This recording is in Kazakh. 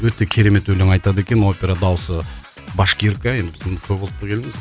өте керемет өлең айтады екен опера даусы башкирка енді біз көп ұлтты елміз